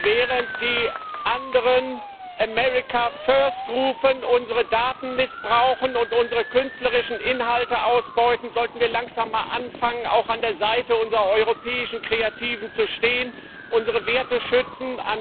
Während die anderen America first rufen, unsere Daten missbrauchen und unsere künstlerischen Inhalte ausbeuten, sollten wir langsam mal anfangen, auch an der Seite unserer europäischen Kreativen zu stehen, unsere Werte schützen.